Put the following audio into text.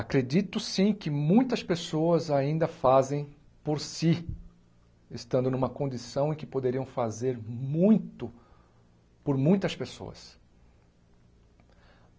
Acredito, sim, que muitas pessoas ainda fazem por si, estando numa condição em que poderiam fazer muito por muitas pessoas.